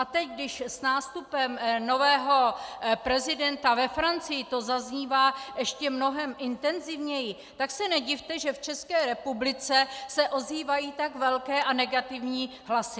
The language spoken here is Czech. A teď, když s nástupem nového prezidenta ve Francii to zaznívá ještě mnohem intenzivněji, tak se nedivte, že v České republice se ozývají tak velké a negativní hlasy.